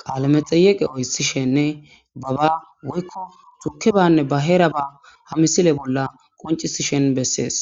qale medheyeqe otishen baba woyko tukebanne ba heraba ha missile bola qonc'isishen beses.